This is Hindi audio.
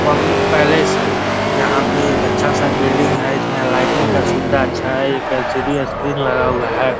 पब्लिक पैलेस है जहाँ पे एक अच्छा सा बिल्डिंग है इसमें लाइटिंग का सुबिधा अच्छा है | एक एलसीडी का स्क्रीन लगा हुआ है|